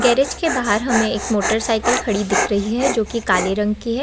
Garage के बाहर हमे एक मोटरसाइकिल खड़ी दिख रही है जो कि काले रंग की है।